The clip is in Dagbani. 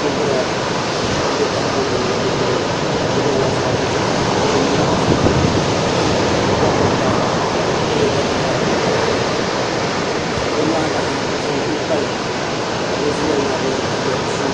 bindira m be tahapɔŋ bila ni ka o gbibi li bindira maa sheŋa kuli zanzaya hali bin nyura gba sheŋa biɛni o bi bobi bobiga ka lee kpa tikpara o nyaanga ha tihi n kuli pali ka o ʒileli maa nyɛ ʒileli suŋ.